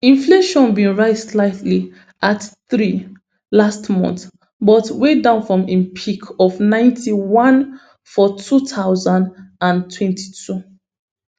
inflation bin rise slightly at three last month but way down from im peak of ninety-one for two thousand and twenty-two